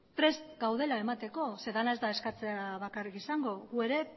prest gaudela emateko zeren dena ez da eskatzea bakarrik izango gu ere